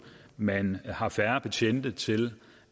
man har færre betjente til